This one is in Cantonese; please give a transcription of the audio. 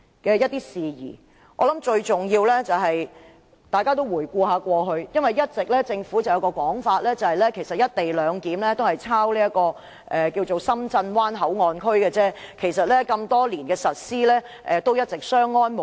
我相信最重要是，政府一直有個說法，指是"一地兩檢"其實只是仿效《深圳灣口岸港方口岸區條例》，該條例實施多年，一直相安無事。